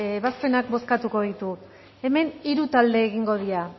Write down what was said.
ebazpenak bozkatuko ditugu hemen hiru talde egingo dira